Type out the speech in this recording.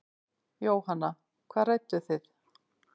Jóhanna: Hvað rædduð þið?